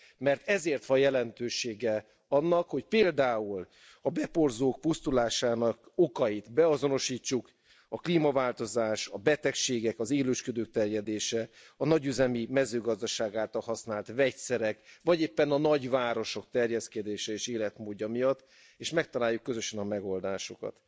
Mert ezért van jelentősége annak, hogy például a beporzók pusztulásának okait beazonosítsuk a klímaváltozás, a betegségek, az élősködő terjedése, a nagyüzemi mezőgazdaság által használt vegyszerek, vagy éppen a nagyvárosok terjeszkedése és életmódja miatt, és megtaláljuk közösen a megoldásokat.